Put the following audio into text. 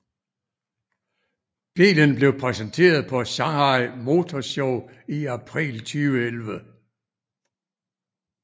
Bilen blev præsenteret på Shanghai Motor Show i april 2011